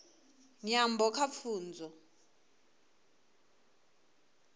nyambo kha pfunzo